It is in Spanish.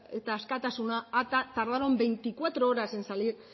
eta askatasuna tardaron veinticuatro horas en salir